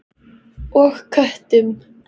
Og köttum.